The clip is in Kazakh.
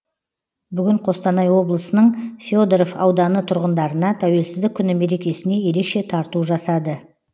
бүгін қостанай облысының федоров ауданы тұрғындарына тәуелсіздік күні мерекесіне ерекше тарту жасады